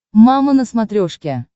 мама на смотрешке